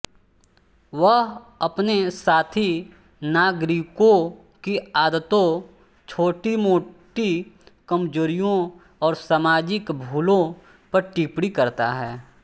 वह अपने साथी नागरिकों की आदतों छोटीमोटी कमजोरियों और सामाजिक भूलों पर टिप्पणी करता है